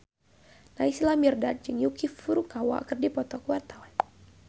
Naysila Mirdad jeung Yuki Furukawa keur dipoto ku wartawan